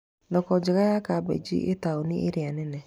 Thoko njega ya kambĩnji ĩ tauni iria nene.